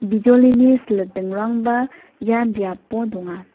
bijolini silitingrangba ia biapo donga.